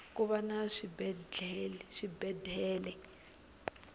kuva na swibedele